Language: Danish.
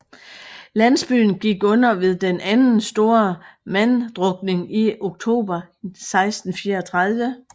Landsbyen gik under ved den anden store manddrukning i oktober 1634